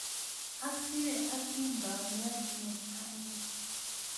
Asire atindoniot ne anyiny